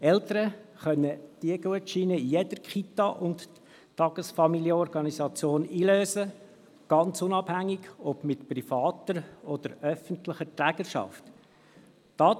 Eltern können diese Gutscheine in jeder Kita und TFO einlösen, ganz unabhängig davon, ob diese eine private oder öffentliche Trägerschaft haben.